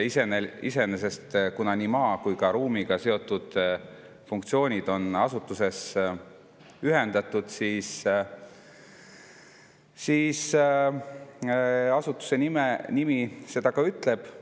Iseenesest nii maa kui ka ruumiga seotud funktsioonid on asutuses ühendatud ja nüüd ütleb seda ka asutuse nimi.